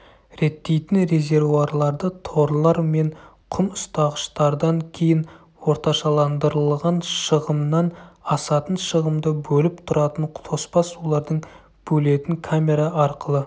реттейтін резервуарларды торлар мен құм ұстағыштардан кейін орташаландырылған шығымнан асатын шығымды бөліп тұратын тоспа сулардың бөлетін камера арқылы